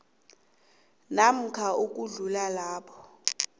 namkha ukudlula lapho